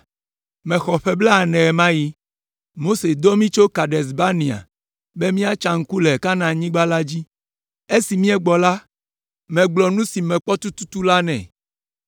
Mexɔ ƒe blaene ɣe ma ɣi. Mose dɔ mí tso Kades Barnea be míatsa ŋku le Kanaanyigba la dzi. Esi míegbɔ la, megblɔ nu si mekpɔ tututu la nɛ,